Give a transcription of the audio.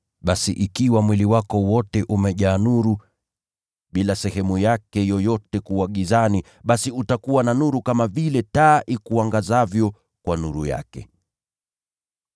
Basi ikiwa mwili wako wote umejaa nuru, bila sehemu yake yoyote kuwa gizani, basi utakuwa na nuru kama vile taa ikuangazavyo kwa nuru yake.”